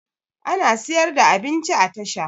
Ana siyar da abinci a tasha